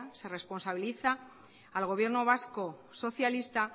se responsabiliza al gobierno vasco socialista